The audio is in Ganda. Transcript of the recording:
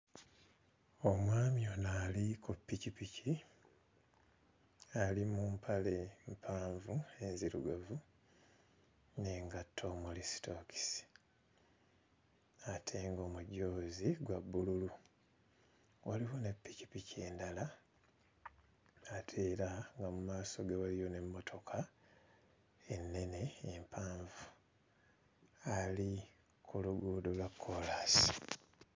Omwami ono ali ku ppikipiki ali mu mpale mpanvu enzirugavu n'engatto omuli sitookisi ate ng'omujoozi gwa bbululu. Waliwo ne ppikipiki endala ate era nga mu maaso ge waliyo n'emmotoka ennene empanvu; ali ku luguudo lwa kkoolaasi.